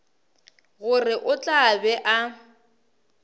gore o tla be a